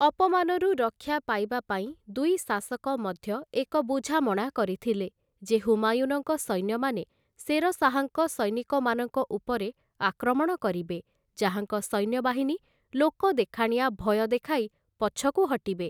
ଅପମାନରୁ ରକ୍ଷା ପାଇବାପାଇଁ ଦୁଇ ଶାସକ ମଧ୍ୟ ଏକ ବୁଝାମଣା କରିଥିଲେ, ଯେ ହୁମାୟୁନଙ୍କ ସୈନ୍ୟମାନେ ଶେର ଶାହାଙ୍କ ସୈନିକମାନଙ୍କ ଉପରେ ଆକ୍ରମଣ କରିବେ, ଯାହାଙ୍କ ସୈନ୍ୟବାହିନୀ ଲୋକଦେଖାଣିଆ ଭୟ ଦେଖାଇ ପଛକୁ ହଟିବେ ।